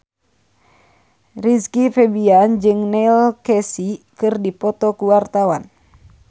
Rizky Febian jeung Neil Casey keur dipoto ku wartawan